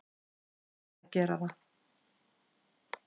Ég verð að gera það.